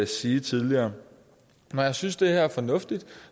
sige tidligere når jeg synes at det er fornuftigt